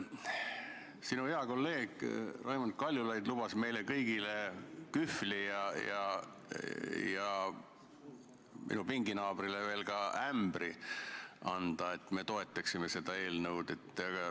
Sinu hea kolleeg Raimond Kaljulaid lubas meile kõigile kühvli ja minu pinginaabrile ka veel ämbri anda, et me toetaksime seda eelnõu.